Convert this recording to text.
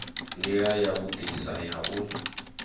ndila ya vhudisa ya u